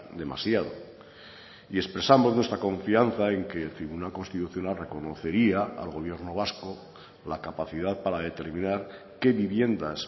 demasiado y expresamos nuestra confianza en que el tribunal constitucional reconocería al gobierno vasco la capacidad para determinar qué viviendas